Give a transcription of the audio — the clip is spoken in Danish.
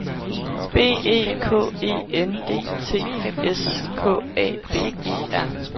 B E K E N D T S K A B E R